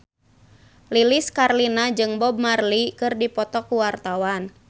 Lilis Karlina jeung Bob Marley keur dipoto ku wartawan